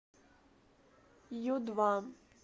ю два